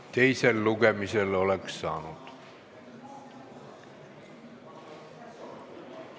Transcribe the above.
Teisel lugemisel oleks saanud.